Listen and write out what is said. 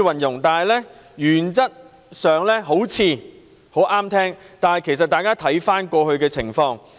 原則上好像很中聽，但是，大家看看過去的情況。